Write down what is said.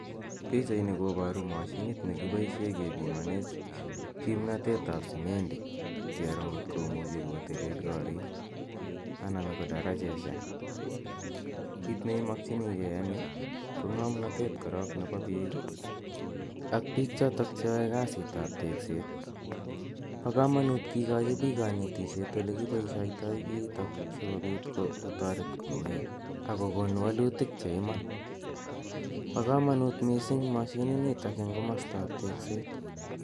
Pichani koparu mashinit ne kipoishe kepimane kimnatet ap simendi kero ngot komuchi kotelel korik anan ko darajoshek. Kit ne imakchinigei eng' yu ,ko ng'amnatet korok nepo pik i, ak pik chotok che yae kasitap tekset. Pa kamanut kikachi pik kanetishet olekipoisheitai kiitok asikopit kotaret komye ako kon walutik che iman. Pa kamanut missing' mashininitok eng' komastaap tekset.